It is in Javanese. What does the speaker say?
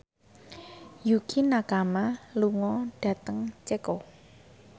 Yukie Nakama lunga dhateng Ceko